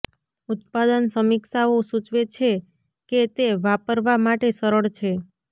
ઉત્પાદન સમીક્ષાઓ સૂચવે છે કે તે વાપરવા માટે સરળ છે